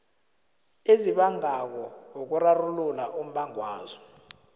ezibangako ukurarulula umbangwazo